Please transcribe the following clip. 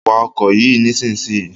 Wa ọkọ̀ yìí nísìnyí!